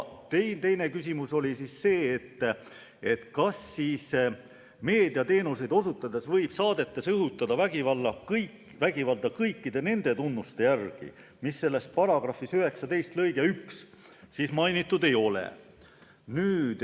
Teine küsimus oli see, kas siis meediateenuseid osutades võib saadetes õhutada vägivalda kõikide nende tunnuste järgi, mida § 19 lõikes 1 mainitud ei ole.